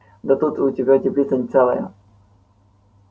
да тут у тебя теплица целая